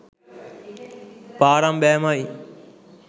පාරම් බෑමයි.